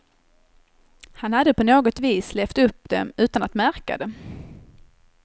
Han hade på något vis levt upp dem utan att märka det.